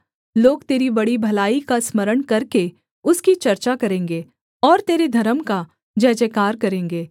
लोग तेरी बड़ी भलाई का स्मरण करके उसकी चर्चा करेंगे और तेरे धर्म का जयजयकार करेंगे